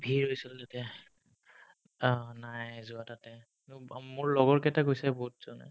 ভিৰ হৈছিল তিতাই অ নাই যোৱা তাতে উম অ মোৰ লগৰকেইটাই গৈছে বহুতজনে